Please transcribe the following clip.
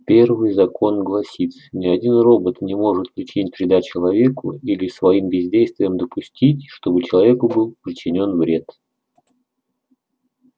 первый закон гласит ни один робот не может причинить вреда человеку или своим бездействием допустить чтобы человеку был причинён вред